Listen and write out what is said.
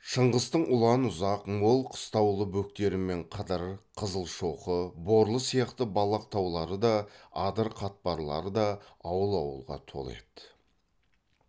шыңғыстың ұлан ұзақ мол қыстаулы бөктерімен қыдыр қызылшоқы борлы сияқты балақ таулары да адыр қатпарлары да ауыл ауылға толы еді